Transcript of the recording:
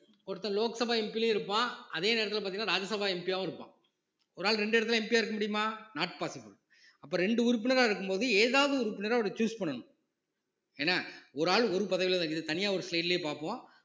ஒருத்தன் லோக் சபா MP லயும் இருப்பான் அதே நேரத்துல பார்த்தீங்கன்னா ராஜ்யசபா MP யாவும் இருப்பான் ஒரு ஆள் ரெண்டு இடத்துல MP யா இருக்க முடியுமா not possible அப்ப ரெண்டு உறுப்பினரா இருக்கும்போது ஏதாவது உறுப்பினரா அவரை choose பண்ணணும் என்ன ஒரு ஆளு ஒரு பதவியில இது தனியா ஒரு slide லயே பார்ப்போம்